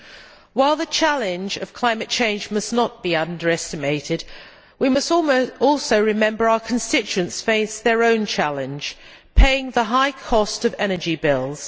Madam President, while the challenge of climate change must not be underestimated, we must also remember our constituents face their own challenge, paying the high cost of energy bills.